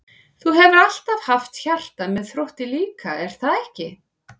Þú hefur alltaf haft hjarta með Þrótti líka er það ekki?